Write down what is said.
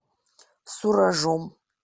суражом